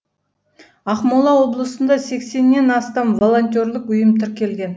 ақмола облысында сексеннен астам волонтерлік ұйым тіркелген